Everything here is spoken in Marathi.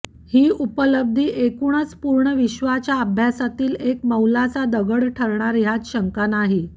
ही उपलब्धी एकूणच पूर्ण विश्वाच्या अभ्यासातील एक मैलाचा दगड ठरणार ह्यात शंका नाही